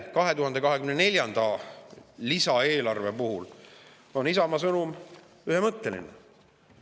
2024. aasta lisaeelarve puhul on Isamaa sõnum ühemõtteline.